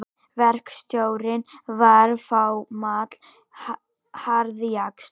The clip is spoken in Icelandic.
Verkstjórinn var fámáll harðjaxl.